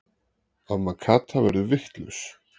Amma Kata verður vitlaus.